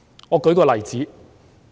我舉一個例子。